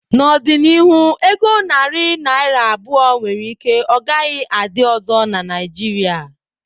N'ọdịnihu, ego narị naira abụọ nwere ike ọ gaghị adị ọzọ na Naijiria.